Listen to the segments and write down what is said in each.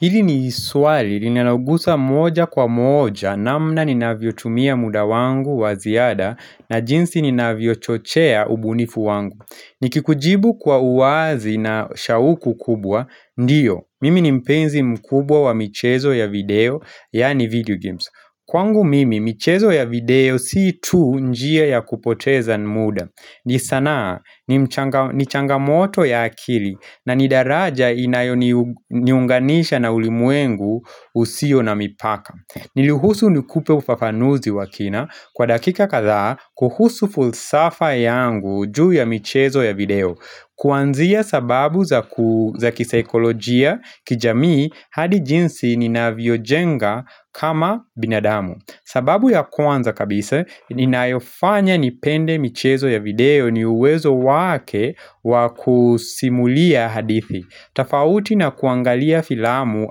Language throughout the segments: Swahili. Hili ni swali, linalouguza moja kwa moja, namna ninavyotumia muda wangu wa ziada, na jinsi ninavyochochea ubunifu wangu. Nikikujibu kwa uwazi na shauku kubwa, ndiyo, mimi ni mpenzi mkubwa wa michezo ya video, yaani video games. Kwangu mimi michezo ya video si tu njia ya kupoteza muda ni sanaa ni mchanga ni changamoto ya akili na ni daraja inayoniunganisha na ulimwengu usio na mipaka Niruhusu nikupe ufafanuzi wa kina kwa dakika kadhaa kuhusu fulsafa yangu juu ya michezo ya video Kuanzia sababu za kisaikolojia kijamii hadi jinsi ni navyojenga kama binadamu sababu ya kwanza kabisa inayofanya nipende michezo ya video ni uwezo wake wakusimulia hadithi tofauti na kuangalia filamu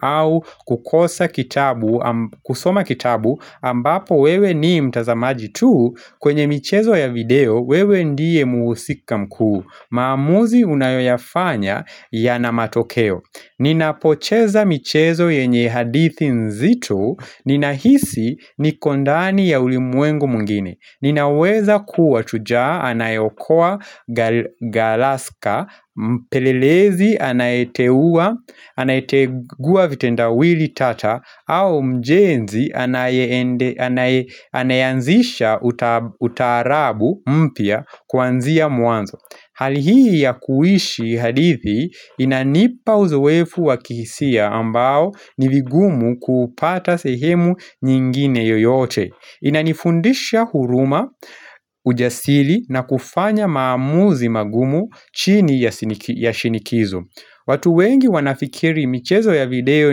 au kukosa kitabu, kusoma kitabu ambapo wewe ni mtazamaji tu kwenye michezo ya video wewe ndiye muhusika mkuu maamuzi unayoyafanya ya na matokeo Ninapocheza michezo yenye hadithi nzito Ninahisi niko ndani ya ulimwengu mwingine Ninaweza kuwa shujaa anayeokoa galaska Mpelelezi anayetegua vitendawili tata au mjenzi anayeanzisha utaarabu mpya kuanzia mwanzo Hali hii ya kuishi hadithi inanipa uzoefu wa kihisia ambao ni vigumu kupata sehemu nyingine yoyote Inanifundisha huruma ujasiri na kufanya maamuzi magumu chini ya shinikizo watu wengi wanafikiri michezo ya video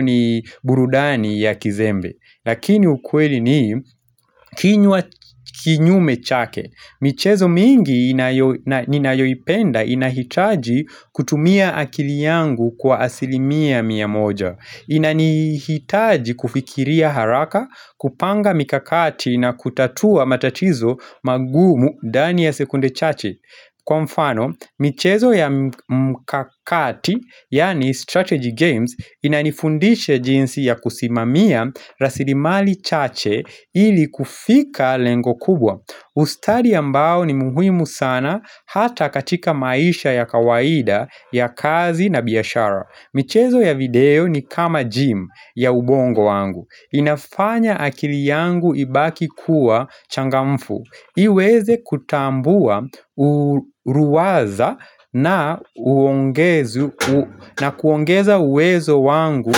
ni burudani ya kizembe Lakini ukweli ni kinyume chake michezo mingi ninayoipenda inahitaji kutumia akili yangu kwa asilimia mia moja Inanihitaji kufikiria haraka, kupanga mikakati na kutatua matatizo magumu ndani ya sekunde chache Kwa mfano, michezo ya mkakati, yani strategy games, inanifundisha jinsi ya kusimamia rasilimali chache ili kufika lengo kubwa ustadi mbao ni muhimu sana hata katika maisha ya kawaida ya kazi na biashara michezo ya video ni kama gym ya ubongo wangu inafanya akili yangu ibaki kuwa changamfu iweze kutambua uliwaza na kuongeza uwezo wangu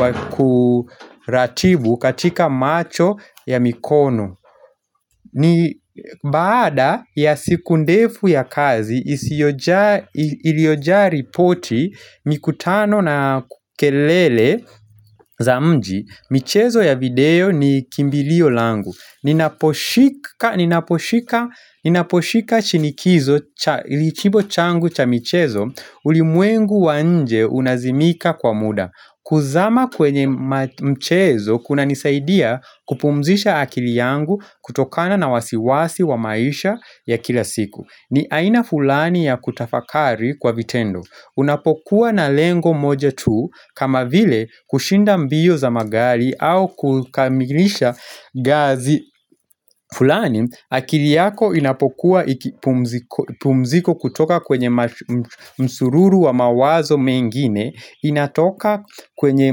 wakuratibu katika macho ya mikono ni baada ya siku ndefu ya kazi iliojaa ripoti mikutano na kelele za mji michezo ya video ni kimbilio langu Ninaposhika shinikizo ilichibo changu cha michezo ulimwengu wanje unazimika kwa muda kuzama kwenye mchezo kuna nisaidia kupumzisha akili yangu kutokana na wasiwasi wa maisha ya kila siku ni aina fulani ya kutafakari kwa vitendo Unapokuwa na lengo moja tu kama vile kushinda mbio za magari au kukamilisha gazi fulani akili yako inapokuwa pumziko kutoka kwenye msururu wa mawazo mengine inatoka kwenye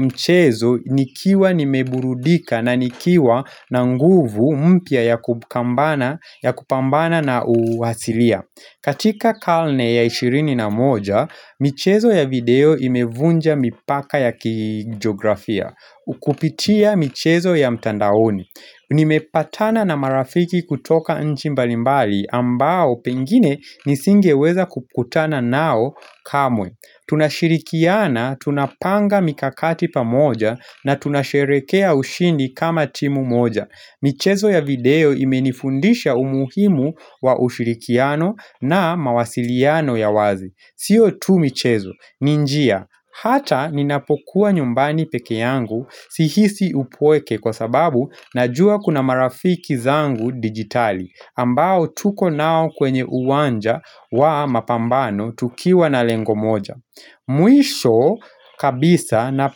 mchezo nikiwa nimeburudika na nikiwa na nguvu mpya ya kupambana na uasilia. Katika karne ya ishirini na moja, michezo ya video imevunja mipaka ya kijiografia kupitia michezo ya mtandaoni Nimepatana na marafiki kutoka nchimbalimbali ambao pengine nisingeweza kukutana nao kamwe tunashirikiana, tunapanga mikakati pa moja na tunasherehekea ushindi kama timu moja michezo ya video imenifundisha umuhimu wa ushirikiano na mawasiliano ya wazi siyo tu michezo, ni njia Hata ninapokuwa nyumbani peke yangu sihisi upweke kwa sababu na jua kuna marafiki zangu digitali ambao tuko nao kwenye uwanja wa mapambano tukiwa na lengo moja Mwisho kabisa na.